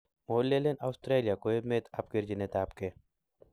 molelen aistarlia ko emet ap kerchinet ap ke.